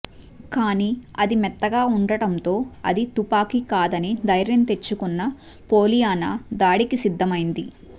కానీ అది మెత్తగా ఉండటంతో అది తుపాకీ కాదని ధైర్యం తెచ్చుకున్న పోలియానా దాడికి సిద్ధమైంది